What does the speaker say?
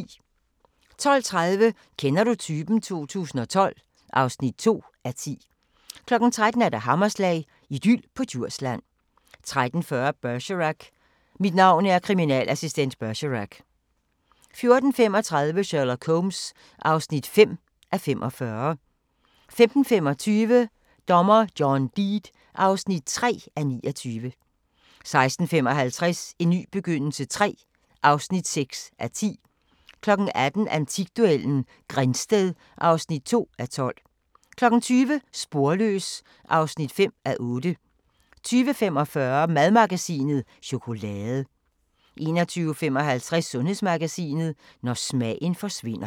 12:30: Kender du typen? 2012 (2:10) 13:00: Hammerslag – idyl på Djursland 13:40: Bergerac: Mit navn er kriminalassistent Bergerac 14:35: Sherlock Holmes (5:45) 15:25: Dommer John Deed (3:29) 16:55: En ny begyndelse III (6:10) 18:00: Antikduellen – Grindsted (2:12) 20:00: Sporløs (5:8) 20:45: Madmagasinet: Chokolade 21:55: Sundhedsmagasinet: Når smagen forsvinder